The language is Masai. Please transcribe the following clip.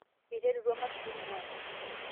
eterutua imasurin aaku